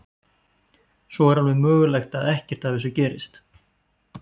Svo er alveg mögulegt að ekkert af þessu gerist.